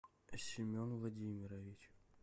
семен владимирович